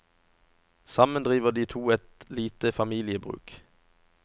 Sammen driver de to et lite familiebruk.